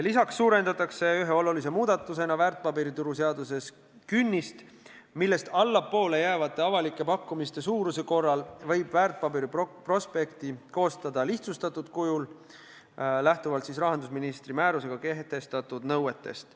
Lisaks suurendatakse ühe olulise muudatusena väärtpaberituru seaduses künnist, millest allapoole jäävate avalike pakkumiste suuruse korral võib väärtpaberite prospekti koostada lihtsustatud kujul, lähtuvalt rahandusministri määrusega kehtestatud nõuetest.